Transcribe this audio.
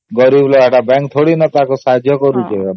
bank କଣ help କରୁଛି କି